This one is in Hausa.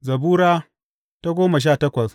Zabura Sura goma sha takwas